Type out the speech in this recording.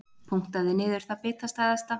Punktaði niður það bitastæðasta.